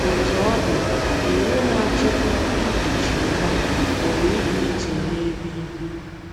Otú ọ dị, iwu na - achịkwa ikuchi nwa pụrụ ịdị iche n’ebe i bi.